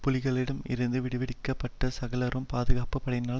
புலிகளிடம் இருந்து விடுவிக்கப்பட்ட சகலரும் பாதுகாப்பு படையினரால்